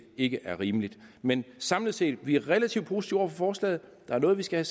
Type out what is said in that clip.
ikke er rimeligt men samlet set vi relativt positive over for forslaget der er noget vi skal